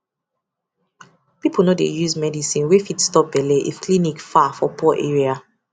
people no dey use medicine wey fit stop belle if clinic far for poor area